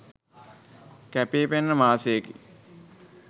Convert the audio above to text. කැපී පෙනෙන මාසයකි